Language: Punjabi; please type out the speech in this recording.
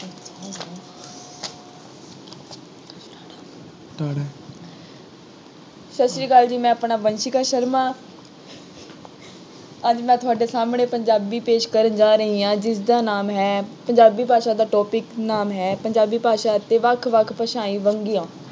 ਸਤਿ ਸ਼੍ਰੀ ਅਕਾਲ ਜੀ, ਮੈਂ ਆਪਣਾ ਵੰਸ਼ਿਕਾ ਸ਼ਰਮਾ ਅੱਜ ਮੈਂ ਤੁਹਾਡੇ ਸਾਹਮਣੇ ਪੰਜਾਬੀ ਪੇਸ਼ ਕਰਨ ਜਾ ਰਹੀ ਹਾਂ। ਜਿਸਦਾ ਨਾਮ ਹੈ, ਪੰਜਾਬੀ ਭਾਸ਼ਾ ਦਾ topic ਨਾਮ ਹੈ ਪੰਜਾਬੀ ਭਾਸ਼ਾ ਅਤੇ ਵੱਖ ਵੱਖ ਭਾਸ਼ਾਈ ਵੰਨਗੀਆਂ।